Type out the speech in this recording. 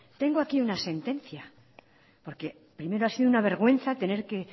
tengo aquí una sentencia porque primero ha sido una vergüenza tener que